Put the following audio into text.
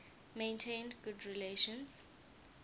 maintained good relations